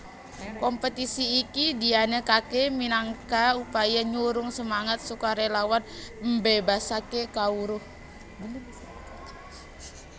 Kompetisi iki dianakaké minangka upaya nyurung semangat sukarélawan mbébasaké kawruh